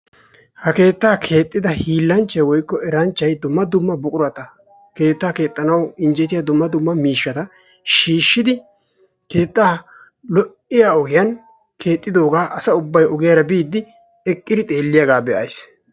ha keettaa keexida eranchchay woykko hiilanchchay dumma dumma buqurata keetta keexxanawu innjetiya dumma dumma miishshata shiishidi keettaa lo'iya ogiyan keexxidoogaa asa ubay ogiyara biidi eqqiidi be'iidi diyaagaa be'ays.